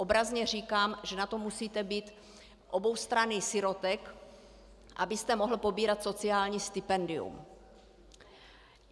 Obrazně říkám, že na to musíte být oboustranný sirotek, abyste mohl pobírat sociální stipendium.